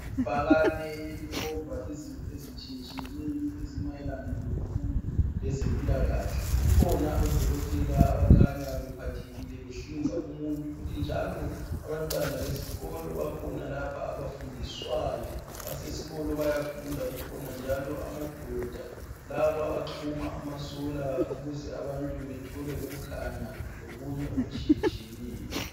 Ibhakane elikhomba izinto ezitshiyetshiyeneyo ezimayelana lemfundo lezempilokahle. Kukhona odokotela abakhanya bephathekile behlinza umuntu. Futhi njalo abantwana besikolo bakhona lapha abafundiswayo. Basesikolo bayafunda. Njalo kukhona amadoda labo axhuma amasolar ukuze abantu bathole ukukhanya lokunye okutshiyetshiyeneyo.